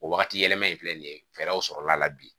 O wagati yɛlɛma in filɛ nin ye fɛɛrɛw sɔrɔla la bi